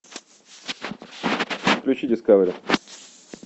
включи дискавери